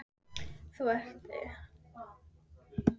Þú ert eitthvað svo daufur allt í einu.